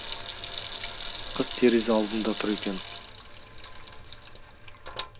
қыз терезе алдында тұр екен